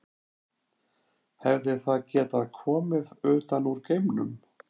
Hefði það getað komið utan úr geimnum?